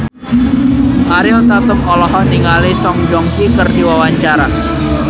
Ariel Tatum olohok ningali Song Joong Ki keur diwawancara